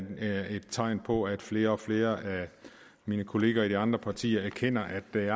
et tegn på at flere og flere af mine kollegaer i de andre partier erkender at det